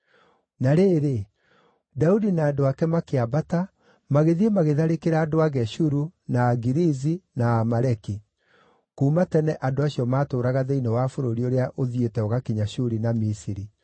Na rĩrĩ, Daudi na andũ ake makĩambata magĩthiĩ magĩtharĩkĩra andũ a Geshuru, na Agirizi na Aamaleki. (Kuuma tene andũ acio maatũũraga thĩinĩ wa bũrũri ũrĩa ũthiĩte ũgakinya Shuri na Misiri.)